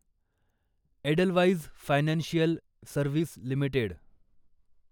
Edelweiss financial service limited